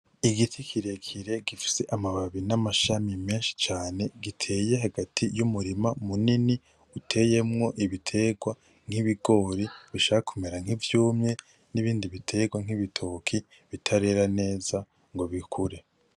Igiti kirekire gifise amababi n'amashami menshi cane, giteye hagati y'umurima munini uteyemwo ibitegwa nk’ibigori bishaka kumera nk'ivyumye n'ibindi bitegwa nk'ibitoke bitarera neza ngo bikure.